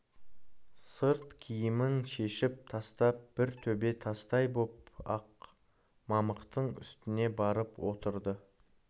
сырт киімін шешіп тастап бір төбе тастай боп ақ мамықтың үстіне барып отырды